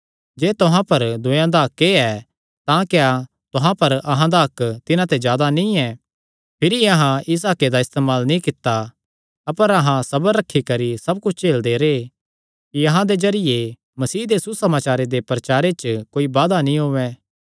जे तुहां पर दूयेयां दा हक्क ऐ तां क्या तुहां पर अहां दा हक्क तिन्हां ते जादा नीं ऐ भिरी अहां इस हक्के दा इस्तेमाल नीं कित्ता अपर अहां सबर रखी करी सब कुच्छ झेलदे रैह् कि अहां दे जरिये मसीह दे सुसमाचारे दे प्रचारे च कोई बाधा नीं औयें